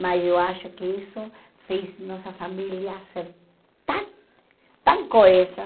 Mas eu acho que isso fez nossa família ser tão tão coesa.